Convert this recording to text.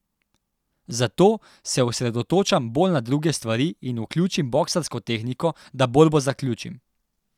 Zato se osredotočam bolj na druge stvari in vključim boksarsko tehniko, da borbo zaključim.